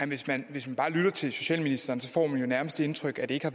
hvis man bare lytter til socialministeren får man jo nærmest det indtryk at det ikke har